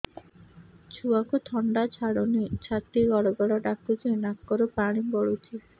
ଛୁଆକୁ ଥଣ୍ଡା ଛାଡୁନି ଛାତି ଗଡ୍ ଗଡ୍ ଡାକୁଚି ନାକରୁ ପାଣି ଗଳୁଚି